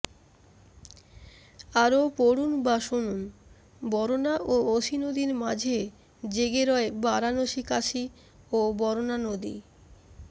আরও পড়ুন বা শুনুনবরণা ও অসি নদীর মাঝে জেগে রয় বারাণসীকাশী ও বরণা নদী